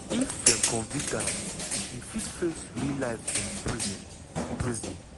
if dem convict am im fit face life in prison. prison.